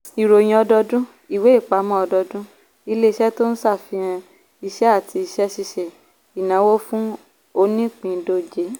ìròyìn ọdọọdun - ìwé-ìpamọ́ ọdọọdún ilé-iṣẹ́ tó ń ṣàfihàn iṣẹ́ àti iṣẹ́ ṣíṣe ìnáwó fún onípìndóje.